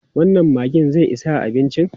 Wannan maggin zai isa abincin?